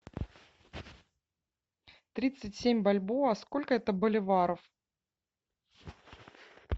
тридцать семь бальбоа сколько это боливаров